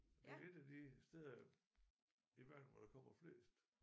Det et af de steder jo i verden hvor der kommer flest